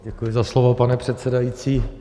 Děkuji za slovo, pane předsedající.